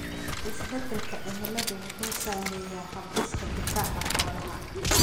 Isbeddelka cimiladu wuxuu saameeyaa hab-dhiska difaaca xoolaha.